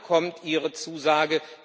Wann kommt Ihre Zusage?